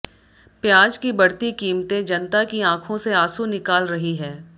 प्याज की बढ़ती कीमते जनता की आंखों से आंसू निकाल रही है